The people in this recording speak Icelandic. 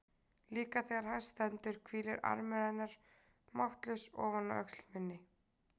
Líka þegar hæst stendur hvílir armur hennar máttlaus ofan á öxl minni.